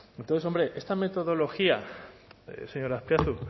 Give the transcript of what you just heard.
entonces hombre esta metodología señor azpiazu